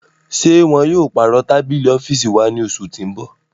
Ṣe wọn yóò parọ tabili ọfiisi wa ni oṣu ti n bọ?